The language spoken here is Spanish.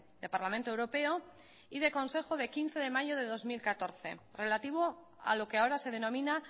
del parlamento europeo y del consejo del quince de mayo del dos mil catorce relativo a lo que ahora se denomina